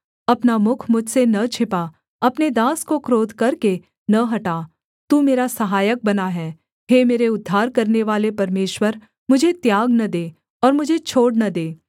अपना मुख मुझसे न छिपा अपने दास को क्रोध करके न हटा तू मेरा सहायक बना है हे मेरे उद्धार करनेवाले परमेश्वर मुझे त्याग न दे और मुझे छोड़ न दे